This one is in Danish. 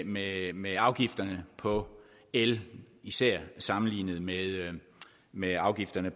med med afgifterne på el især sammenlignet med med afgifterne